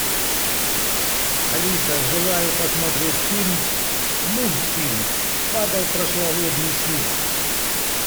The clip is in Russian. алиса желаю посмотреть фильм мультфильм падал прошлогодний снег